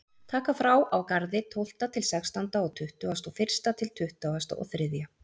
Taka frá á Garði tólfta til sextánda og tuttugasta og fyrsta til tuttugasta og þriðja.